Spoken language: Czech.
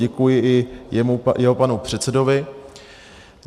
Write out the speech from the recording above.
Děkuji i jeho panu předsedovi.